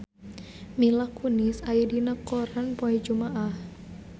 Mila Kunis aya dina koran poe Jumaah